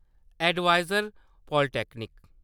adviser polytechnic